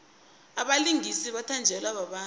abalingisi bathatjelwa babantu